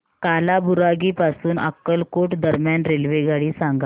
कालाबुरागी पासून अक्कलकोट दरम्यान रेल्वेगाडी सांगा